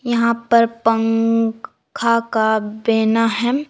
यहां पर पंख खा का बेना है।